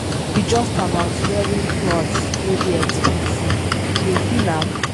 No be just about wearing cloth wey dey expensive, you dey feel am?